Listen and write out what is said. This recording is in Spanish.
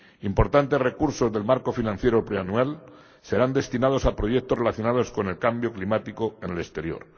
Importantes recursos del marco financiero plurianual serán destinados a proyectos relacionados con el cambio climático en el exterior.